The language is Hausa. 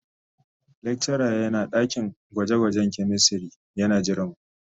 Lecturer yana dakin gwaje-gwajen chemistry yana jiranmu.